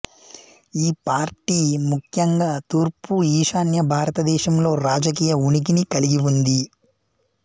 ఈ పార్టీ ముఖ్యంగా తూర్పు ఈశాన్య భారతదేశంలో రాజకీయ ఉనికిని కలిగి ఉంది